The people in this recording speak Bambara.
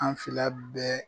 An fila bɛɛ